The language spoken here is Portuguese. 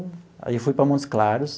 Aí eu fui para Montes Claros.